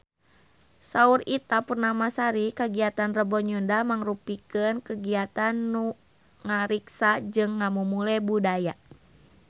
Saur Ita Purnamasari kagiatan Rebo Nyunda mangrupikeun kagiatan anu ngariksa jeung ngamumule budaya Sunda